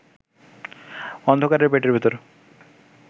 অন্ধকারের পেটের ভেতরে